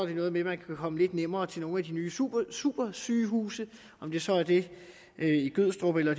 det noget med at man kan komme lidt nemmere til nogle af de nye supersygehuse og om det så er det i gødstrup eller